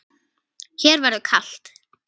Þér verður kalt